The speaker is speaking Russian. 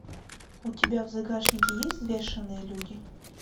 у тебя в загашнике есть взвешенные люди